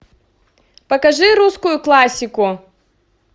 покажи русскую классику